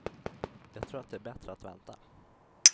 Jag tror att det är bättre att vänta.